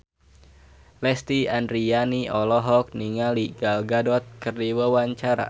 Lesti Andryani olohok ningali Gal Gadot keur diwawancara